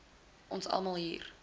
ons almal hier